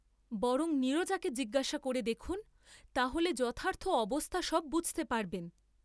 বরং নীরজাকে জিজ্ঞাসা করে দেখুন তা হলে যথার্থ অবস্থা সব বুঝতে পারবেন।